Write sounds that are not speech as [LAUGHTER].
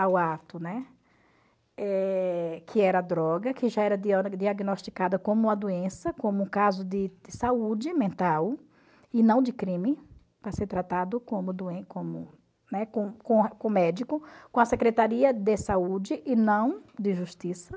ao ato, né, eh que era droga, que já era [UNINTELLIGIBLE] diagnosticada como uma doença, como um caso de de saúde mental e não de crime, para ser tratado como [UNINTELLIGIBLE] como né com com com médico, com a Secretaria de Saúde e não de Justiça.